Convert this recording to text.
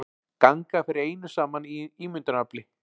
Ganga fyrir einu saman ímyndunarafli.